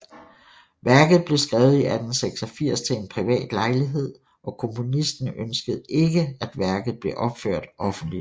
Værket blev skrevet i 1886 til en privat lejlighed og komponisten ønskede ikke at værket blev opført offentligt